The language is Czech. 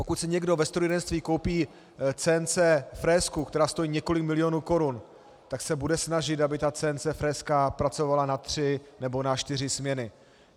Pokud si někdo ve strojírenství koupí CNC frézku, která stojí několik milionů korun, tak se bude snažit, aby ta CNC frézka pracovala na tři nebo na čtyři směny.